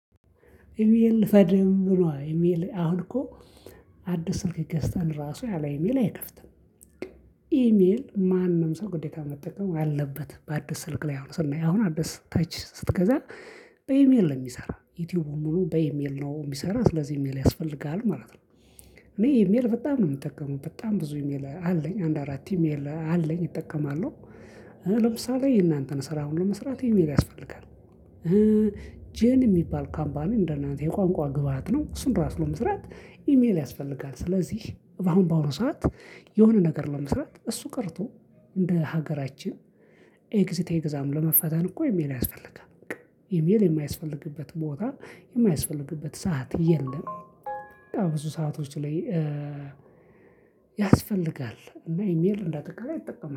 ኢሜል ፈድም ነዋ ኢሜል አሁን እኮ አዲስ ስልክ ገዝተን ራሱ ያለ ኢሜል አይከፍትም። ኢሜል ማንም ሰው ግዴታ መጠቀም አለበት በአዲስ ስልክ ላይ አሁን ስናይ አሁን አዲስ ተች ስትገዛ። በኢሜል ለሚሰራ ዩቲዩቡ ሙሉ በኢሜል ነው የሚሰራ ስለዚህ ኢሜል ያስፈልግሃል ማለት ነው። እኔ ኢሜል በጣም ነው የምጠቀመው በጣም ብዙ ኢሜል አለኝ አንድ አራት ኢሜል አለኝ እጠቀማለሁ። ለምሳሌ የእናንተን ስራ ሁሉ መስራት ኢሜል ያስፈልጋል። ጄን የሚባል ካምፓኒ እንደናንተ የቋንቋ ግብአት ነው እሱን ራሱ ለመስራት ኢሜል ያስፈልጋል ስለዚህ በአሁን በአሁን ሰዓት። የሆነ ነገር ለመስራት እሱ ቀርቶ እንደ ሀገራችን ኤግዚት ኤግዛም ለመፈተን እኮ ኢሜል ያስፈልጋል። ኢሜል የማያስፈልግበት ቦታ የማያስፈልግበት ሰዓት የለም። ብዙ ሰአቶች ላይ ያስፈልጋል እና ኢሜል እንዳጠቃላይ ይጠቀማል